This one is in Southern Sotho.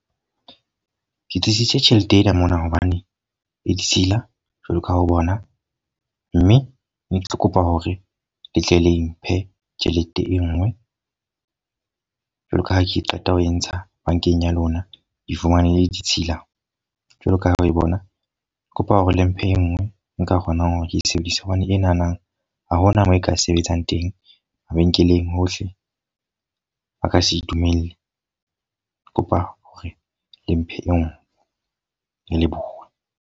Ke tiisitse tjhelete ena mona hobane e ditshila jwalo ka ha o bona. Mme ne ke tlo kopa hore le tle le mphe tjhelete e nngwe. Jwalo ka ha ke qeta ho e ntsha bankeng ya lona. Kr fumane e le ditshila jwalo ka ha o e bona. Ke kopa hore le mphe e nngwe nka kgonang hore ke sebedise. Hobane e na na ha hona moo e ka sebetsang teng, mabenkeleng hohle. Ba ka se dumelle. Ke kopa hore le mphe e nngwe. Ka leboha.